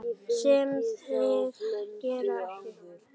Sem það gerir ekki.